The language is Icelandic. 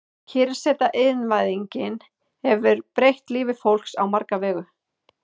Kyrrseta Iðnvæðingin hefur breytt lífi fólks á marga vegu.